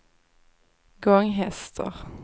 Gånghester